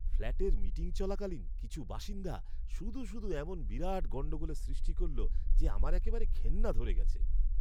ফ্ল্যাটের মিটিং চলাকালীন কিছু বাসিন্দা শুধু শুধু এমন বিরাট গণ্ডগোলের সৃষ্টি করল যে আমার একেবারে ঘেন্না ধরে গেছে!